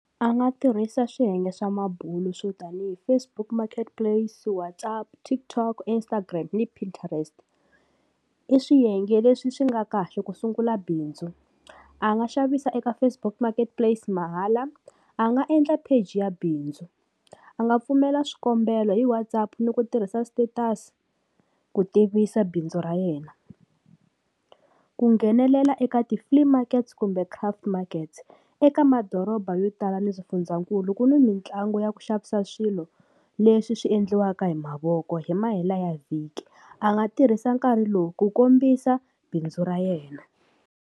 A nga tirhisa swiyenge swa mabulo swo tanihi Facebook Marketplace, WhatsApp, TikTok, Instagram ni Pinterest, i swiyenge leswi swi nga kahle ku sungula bindzu. A nga xavisa eka Facebook Marketplace mahala a nga endla page ya bindzu. A nga pfumela swikombelo hi WhatsApp ni ku tirhisa status ku tivisa bindzu ra yena. Ku nghenelela eka ti-flea markets kumbe craft markets, eka madoroba yo tala ni swifundzankulu ku n'wi mitlangu ya ku xavisa swilo leswi swi endliwaka hi mavoko hi mahela ya vhiki a nga tirhisa nkarhi lowu ku kombisa bindzu ra yena.